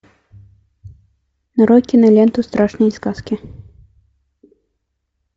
нарой киноленту страшные сказки